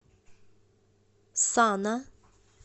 сана